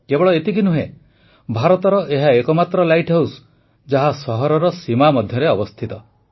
କେବଳ ଏତିକି ନୁହେଁ ଭାରତର ଏହା ଏକମାତ୍ର ଲାଇଟ୍ ହାଉସ୍ ଯାହା ସହରର ସୀମା ମଧ୍ୟରେ ଅବସ୍ଥିତ